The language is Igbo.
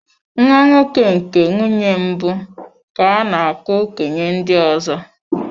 Nwa nwoke nke mbụ nke nwunye mbụ, ka a na-akpo okenye ndị ọzọ.